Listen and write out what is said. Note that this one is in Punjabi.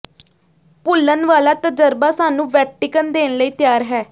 ਭੁੱਲਣ ਵਾਲਾ ਤਜਰਬਾ ਸਾਨੂੰ ਵੈਟੀਕਨ ਦੇਣ ਲਈ ਤਿਆਰ ਹੈ